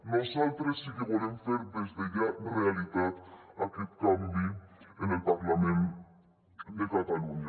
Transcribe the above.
nosaltres sí que volem fer des de ja realitat aquest canvi en el parlament de catalunya